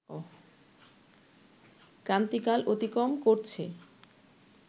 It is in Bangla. ক্রান্তিকাল অতিক্রম করছে